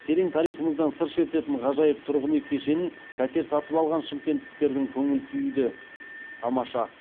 терең тарихымыздан сыр шертетін ғажайып тұрғын үй кешенін пәтер сатып алған шымкенттіктердің көңіл күйі де тамаша